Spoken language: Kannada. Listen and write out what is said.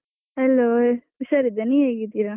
Hello ಹುಷಾರಿದ್ದೇನೆ, ನೀವ್ ಹೇಗಿದ್ದೀರಾ?